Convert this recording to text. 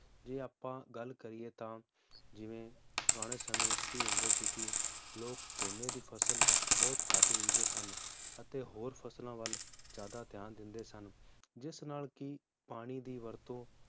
ਜੇ ਆਪਾਂ ਗੱਲ ਕਰੀਏ ਤਾਂ ਜਿਵੇ ਪੁਰਾਣੇ ਸਮੇ ਵਿਚ ਕਿ ਹੁੰਦੇ ਸੀ ਕਿ ਲੋਕ ਝੋਨੇ ਦੀ ਫਸਲ ਬਹੁਤ ਘੱਟ ਵੇਚਦੇ ਸਨ ਅਤੇ ਹੋਰ ਫਸਲਾਂ ਵੱਲ ਜ਼ਿਆਦਾ ਧਿਆਨ ਦਿੰਦੇ ਸਨ ਜਿਸ ਨਾਲ ਕਿ ਪਾਣੀ ਦੀ ਵਰਤੋ